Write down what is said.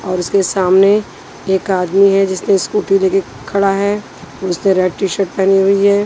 उसके सामने एक आदमी है जिसने स्कूटी लेके खड़ा है उसने रेड टीशर्ट पहनी हुई है।